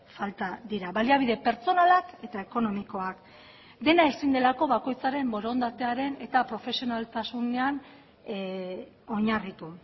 falta dira baliabide pertsonalak eta ekonomikoak dena ezin delako bakoitzaren borondatearen eta profesionaltasunean oinarritu